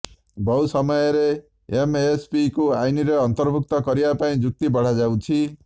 ବହୁ ସମୟରେ ଏମଏସପିକୁ ଆଇନରେ ଅନ୍ତର୍ଭୁକ୍ତ କରିବାପାଇଁ ଯୁକ୍ତି ବଢ଼ାଯାଉଛି